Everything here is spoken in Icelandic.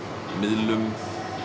miðlum